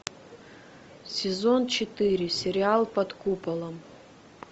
сезон четыре сериал под куполом